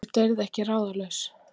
Þú deyrð ekki ráðalaus